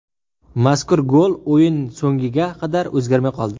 Mazkur gol o‘yin so‘ngiga qadar o‘zgarmay qoldi.